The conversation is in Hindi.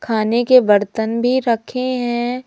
खाने के बर्तन भी रखे हैं।